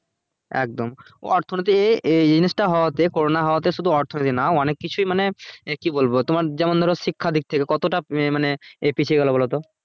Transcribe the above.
একদম অর্থ নীতি এ এই জিনিসটা হওয়াতে corona হওয়াতে শুধু অর্থ নীতি না অনেক কিছুই মানে কি বলবো তোমার যেমন ধরো শিক্ষা দিক থেকে কতটা মানে এ পিছিয়ে গেলো বলো তো